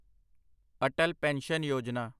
Atal pension Yojana